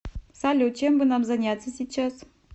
салют чем бы нам заняться сейчас